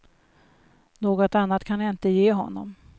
Något annat kan jag inte ge honom.